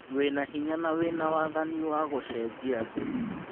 Wĩna hinya na wĩna wathani wa gũcenjia thĩ.